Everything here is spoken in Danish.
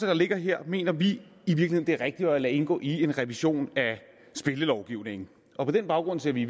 der ligger her mener vi i virkeligheden det er rigtigt at lade indgå i en revision af spillelovgivningen og på den baggrund ser vi